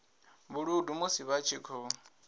vhuludu musi vha tshi khou